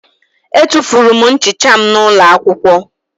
Etufuru m nchicha m n'ụlọ akwụkwọ